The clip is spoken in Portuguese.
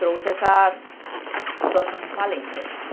trouxe essa situação de falência.